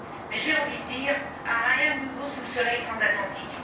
Mais j'ai envie de dire rien de nouveau sous le soleil transatlantique.